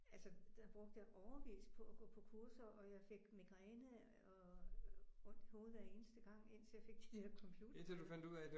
Altså der brugte jeg årevis på at gå på kurser og jeg fik migræne og ondt i hovedet hver eneste gang indtil jeg fik de der computerbriller